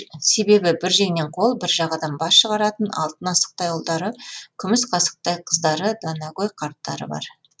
себебі бір жеңнен қол бір жағадан бас шығаратын алтын асықтай ұлдары күміс қасықтай қыздары данагөй қарттары бар